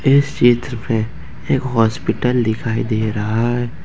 इस चित्र में एक हॉस्पिटल दिखाई दे रहा है।